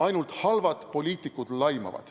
Ainult halvad poliitikud laimavad.